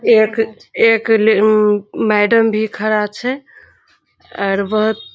एक एक ले मैडम भी खड़ा छै और बहुत --